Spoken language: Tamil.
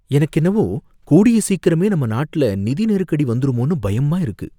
எனக்கென்னவோ கூடிய சீக்கிரமே நம்ம நாட்டுல நிதி நெருக்கடி வந்துருமோன்னு பயமா இருக்கு.